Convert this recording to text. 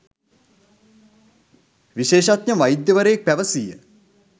විශේෂඥ වෛද්‍යවරයෙක් පැවසීය